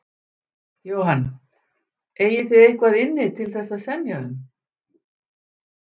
Jóhann: Eigið þið eitthvað inni til þess að semja um?